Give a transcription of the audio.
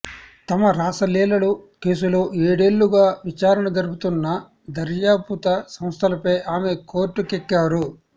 తమ రాసలీలల కేసులో ఏడేళ్లుగా విచారణ జరుపుతున్న దర్యాపుత సంస్థలపై ఆమె కోర్టుకెక్కారు